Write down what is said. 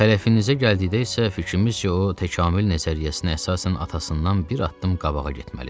Xələfinizə gəldikdə isə fikrimiz ki, o təkamül nəzəriyyəsinə əsasən atasından bir addım qabağa getməlidir.